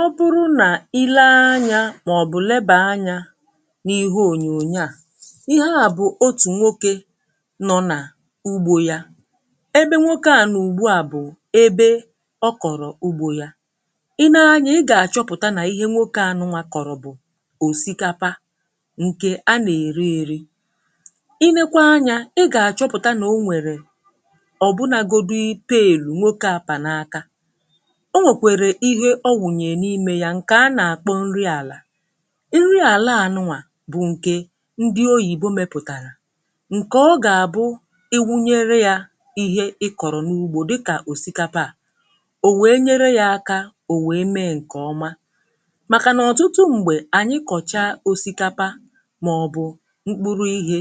ọ bụrụ nà i lee anyȧ màọ̀bụ̀ lebà anyȧ n’ihe ònyònyo à ihe à bụ̀ otù nwokė nọọ̇ nà ugbȯ yȧ ebe nwoke à n’ùgbu à bụ̀ ebe ọ kọ̀rọ̀ ugbȯ yȧ i nee anyȧ ị gà-àchọpụ̀ta nà ihe nwokė anụ nwà kọ̀rọ̀ bụ̀ òsìkapa ǹkè a nà-èri ėri i nekwa anyȧ ị gà-àchọpụ̀ta nà o nwèrè ọ̀ um bụnȧgodi payed ìnwokė a pà na-akȧ ǹkè a nà-akpọ nri àlà nri àlà ànụnwà bụ̀ ǹkè ndị oyìbo mepụ̀tàrà ǹkè ọ gà-àbụ iwunyere yȧ ihe ị kọ̀rọ̀ n’ugbȯ dịkà òsikapa à ò wèe nyere yȧ aka um ò wèe mee ǹkè ọma màkà nà ọ̀tụtụ m̀gbè ànyị kọ̀cha òsikapa màọ̀bụ̀ mkpụrụ ihė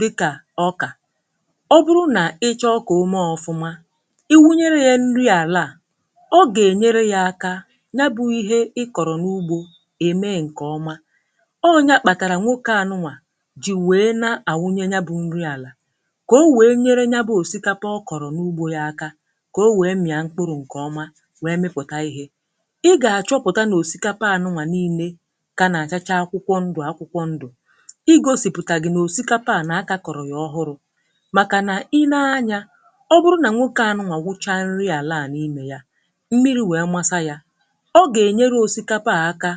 dịkà ọkà ọ bụrụ nà ịchọọ kà òme ọ̀fụma ya bụ ihe ị kọrọ n’ugbȯ eme nke ọma ọọ ya kpatara nwoke anụnwà ji wee na-awunye ya bụ nri àlà ka o wee nyere ya bụ òsikapa ọ kọrọ n’ugbȯ ya aka ka o wee m ya mkpụrụ nke ọmà wee mepụta ihe ị ga-achọpụta na òsikapa anụnwà niile ka na-achacha akwụkwọ ndụ akwụkwọ ndụ ị gosiputà gị nà òsikapà ànà aka kọrọ yà ọhụrụ màkà nà i nee anyà ọ bụrụ nà nwoke anụnwà wụcha nri àlà n’imė ya ọ gà-ènyere òsikapa à aka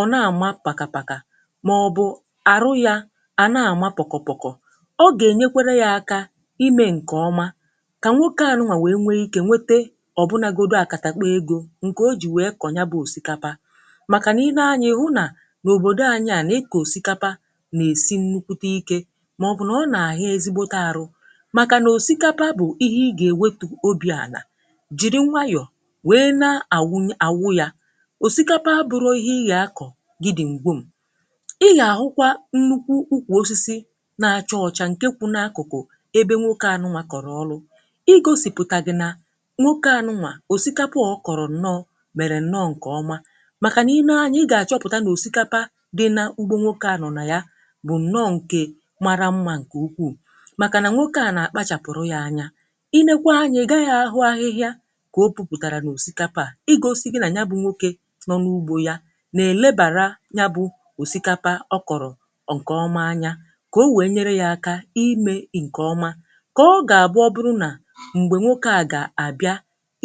ọ̀ na-àma pakàpakà màọ̀bụ̀ àrụ yȧ à na-àma pọ̀kọ̀pọ̀kọ̀ ọ gà-ènyekwere yȧ aka imė ǹkè ọma kà nwokė ànụnwà nwèe nwee ikė nwete ọ̀bụnȧgȯdȯ àkàtà kpọ̀ egȯ ǹkè o jì nwèe kọ̀nya bụ̇ òsikapa màkà nà i nee anyȧ ihu nà n’òbòdò ànyị ànà ịkà òsikapa nà-èsi nnukwute ikė màọ̀bụ̀ nà ọ nà-àhụ ezigbote àrụ màkà nà òsikapa bụ̀ ihe ị gà-ewetu obì ànà jìri nwayọ̀ òsikapa bụrụ ihe ị gà-akọ̀ gị dị ṁgbe m ị gà-àhụkwa nnukwu ukwù osisi na-achọ ọcha ǹkè kwụ n’akụkụ̀ ebe nwoke ànụnwà kọ̀rọ̀ ọlụ i gȯsìpụ̀tà gị nà nwokė ànụnwà òsikapà ọ kọ̀rọ̀ ǹnọ mèrè ǹnọ ǹkọ̀ọma màkà nà i nee anyȧ ị gà-àchọpụ̀ta n’òsikapa dị nà ugbȯ nwokė à nọ̀ nà ya bụ̀ ǹnọ ǹkè mara mmȧ ǹkè ukwuù màkà nà nwokė à nà-àkpachàpụ̀rụ yȧ anya i nekwa anya gaghị ahụ ahịhịa nọ n’ugbȯ ya nà-èlebàra nya bụ̇ òsìkapa ọ kọ̀rọ̀ ǹkè ọma anya kà o wèe nyere ya aka imė ǹkè ọma kà ọ gà-àbụ um ọ bụrụ nà m̀gbè nwokė à gà-àbịa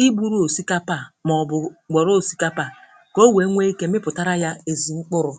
i buru òsikapa a màọbụ̀ m̀gbọ̀rọ̀ òsikapa a kà o wèe nwee ike mịpụ̀tara ya èzùmkpụrụ̇